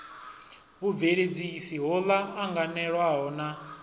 vhubveledzisi ho ḽa anganelwaho na